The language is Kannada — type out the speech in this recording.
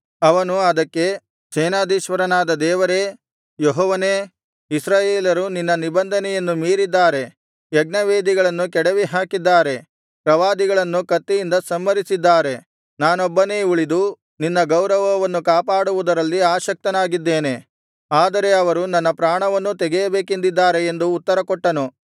ಅವನು ಅದಕ್ಕೆ ಸೇನಾಧೀಶ್ವರನಾದ ದೇವರೇ ಯೆಹೋವನೇ ಇಸ್ರಾಯೇಲರು ನಿನ್ನ ನಿಬಂಧನೆಯನ್ನು ಮೀರಿದ್ದಾರೆ ಯಜ್ಞವೇದಿಗಳನ್ನು ಕೆಡವಿಹಾಕಿದ್ದಾರೆ ಪ್ರವಾದಿಗಳನ್ನು ಕತ್ತಿಯಿಂದ ಸಂಹರಿಸಿದ್ದಾರೆ ನಾನೊಬ್ಬನೇ ಉಳಿದು ನಿನ್ನ ಗೌರವವನ್ನು ಕಾಪಾಡುವುದರಲ್ಲಿ ಆಸಕ್ತನಾಗಿದ್ದೇನೆ ಆದರೆ ಅವರು ನನ್ನ ಪ್ರಾಣವನ್ನೂ ತೆಗೆಯಬೇಕೆಂದಿದ್ದಾರೆ ಎಂದು ಉತ್ತರಕೊಟ್ಟನು